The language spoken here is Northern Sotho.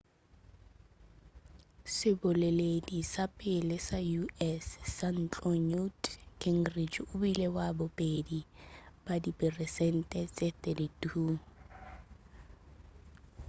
seboleledi sa pele sa u.s. sa ntlo newt gingrich o bile wa bobedi ka diperesente tše 32